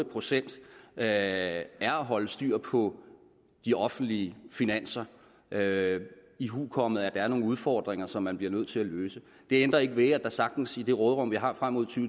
procent er at holde styr på de offentlige finanser ihukommende at der er nogle udfordringer som man bliver nødt til at løse det ændrer ikke ved at der sagtens i det råderum vi har frem mod to